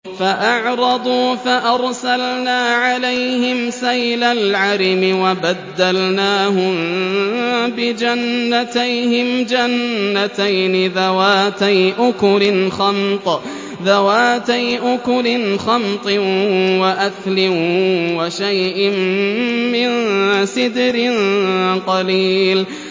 فَأَعْرَضُوا فَأَرْسَلْنَا عَلَيْهِمْ سَيْلَ الْعَرِمِ وَبَدَّلْنَاهُم بِجَنَّتَيْهِمْ جَنَّتَيْنِ ذَوَاتَيْ أُكُلٍ خَمْطٍ وَأَثْلٍ وَشَيْءٍ مِّن سِدْرٍ قَلِيلٍ